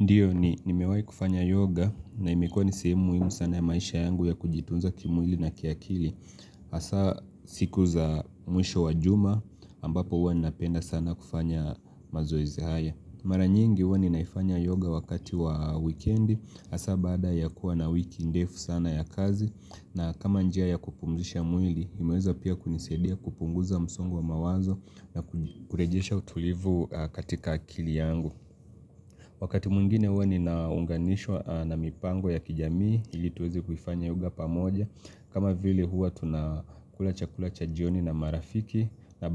Ndiyo ni nimewai kufanya yoga na imekua ni sehemu muimu sana ya maisha yangu ya kujitunza kimwili na kiakili Asa siku za mwisho wa juma ambapo huwa ninapenda sana kufanya mazoezi haya Mara nyingi huwa ninaifanya yoga wakati wa wikendi hasa baada ya kuwa na wiki ndefu sana ya kazi na kama njia ya kupumzisha mwili imeweza pia kunisaidia kupunguza msongo wa mawazo na kurejesha utulivu katika akili yangu Wakati mwengine huwa ninaunganishwa na mipango ya kijamii, ili tuweze kuifanya yoga pamoja. Kama vile huwa tunakula chakula cha jioni na marafiki na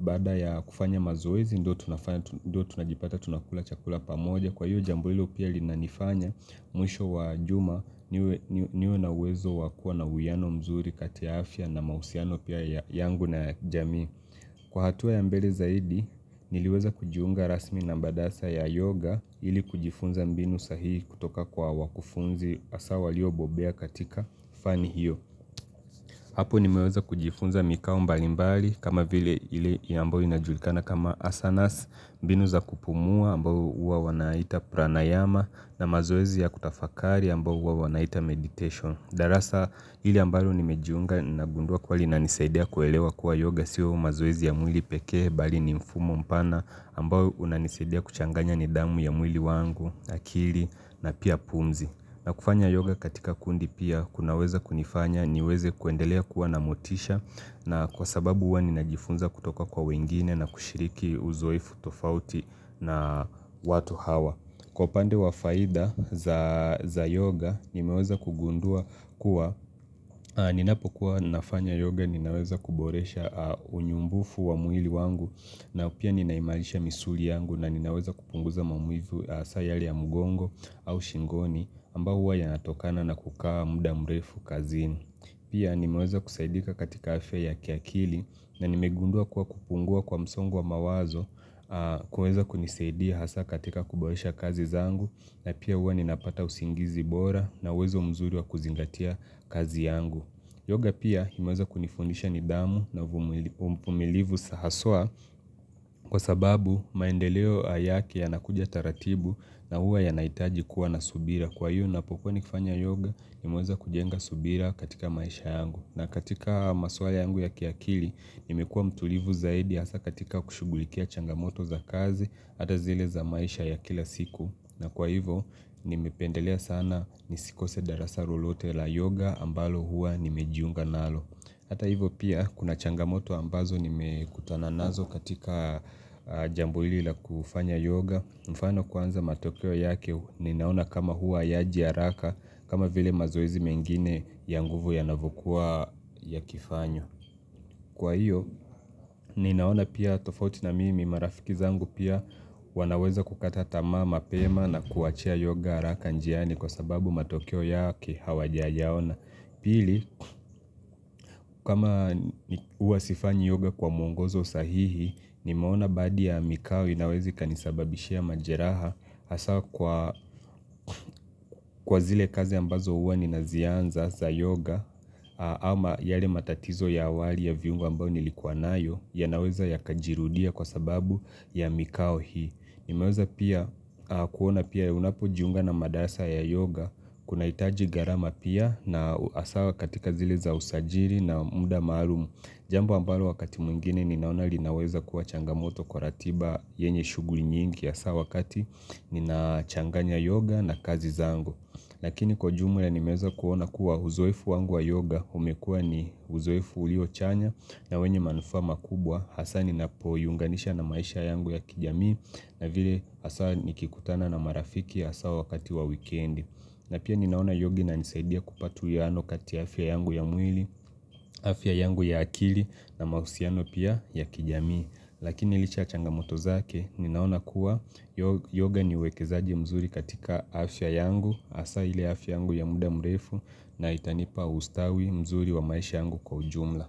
baada ya kufanya mazoezi, ndo tunajipata tunakula chakula pamoja. Kwa hiyo jambo hilo pia linanifanya mwisho wa juma niwe na uwezo wa kuwa na uwiano mzuri kati ya afya na mahusiano pia yangu na jamii Kwa hatua ya mbele zaidi niliweza kujiunga rasmi na mbadasa ya yoga ili kujifunza mbinu sahihi kutoka kwa wakufunzi asa waliobobea katika fani hiyo Hapo nimeweza kujifunza mikao mbalimbali kama vile ile ambayo inajulikana kama asanas, mbinu za kupumua, ambao uwa wanaita pranayama na mazoezi ya kutafakari ambao huwa wanaita meditation. Darasa ile ambao nimejiunga nagundua kuwa linanisaidia kuelewa kuwa yoga siyo mazoezi ya mwili pekee bali ni mfumo mpana ambao unanisaidia kuchanganya nidamu ya mwili wangu, akili na pia pumzi. Na kufanya yoga katika kundi pia kunaweza kunifanya niweze kuendelea kuwa na motisha na kwa sababu uwa ninajifunza kutoka kwa wengine na kushiriki uzoefu tofauti na watu hawa. Kwa upande wa faida za yoga nimeweza kugundua kuwa ninapokuwa nafanya yoga ninaweza kuboresha unyumbufu wa mwili wangu na pia ninaimarisha misuli yangu na ninaweza kupunguza maumivu asa yale ya mgongo au shingoni ambao huwa yanatokana na kukaa muda mrefu kazini. Pia nimeweza kusaidika katika afya ya kiakili na nimegundua kuwa kupungua kwa msongo wa mawazo kuweza kunisaidia hasa katika kuboresha kazi zangu na pia huwa ninapata usingizi bora na uwezo mzuri wa kuzingatia kazi yangu. Yoga pia imeweza kunifundisha nidamu na umvumilivu sa haswa kwa sababu maendeleo yake yanakuja taratibu na huwa yanaitaji kuwa na subira. Kwa hiyo napokuwa nikifanya yoga imeweza kujenga subira katika maisha yangu. Na katika maswala yangu ya kiakili, nimekuwa mtulivu zaidi hasa katika kushughulikia changamoto za kazi, hata zile za maisha ya kila siku. Na kwa hivo, nimependelea sana nisikose darasa rolote la yoga ambalo hua nimejiunga nalo. Hata hivo pia, kuna changamoto ambazo nimekutana nazo katika jambo hili la kufanya yoga. Mfano kwanza matokeo yake ninaona kama huwa yaji araka kama vile mazoezi mengine ya nguvu yanavokua yakifanywa. Kwa hiyo ninaona pia tofauti na mimi marafiki zangu pia wanaweza kukata tamaa mapema na kuachia yoga araka njiani kwa sababu matokeo yake hawajayaona Pili, kama huwa sifanyi yoga kwa mwongozo sahihi, nimeona baadi ya mikao inaweza ikanisababishia majeraha hasa kwa kwa zile kazi ambazo huwa ninazianza za yoga ama yale matatizo ya awali ya viungao ambao nilikuwa nayo yanaweza yakajirudia kwa sababu ya mikao hii. Nimeweza pia kuona pia unapojiunga na madarasa ya yoga Kunaitaji gharama pia na hasa wa katika zile za usajiri na muda maalumu Jambi ambalo wakati mwingine ninaona linaweza kuwa changamoto kwa ratiba yenye shughuli nyingi hasa wakati ninachanganya yoga na kazi zangu Lakini kwa jumla nimeeza kuona kuwa uzoefu wangu wa yoga umekua ni uzoefu ulio chanya na wenye manufaa makubwa hasa ninapoiunganisha na maisha yangu ya kijamii na vile hasa nikikutana na marafiki hasa wakati wa wikendi na pia ninaona yoga inanisaidia kupata uwiano kati ya afya yangu ya mwili afya yangu ya akili na mahusiano pia ya kijamii lakini licha ya changamoto zake ninaona kuwa yoga ni uwekezaji mzuri katika afya yangu hasa ile afya yangu ya muda mrefu na itanipa ustawi mzuri wa maisha yangu kwa ujumla.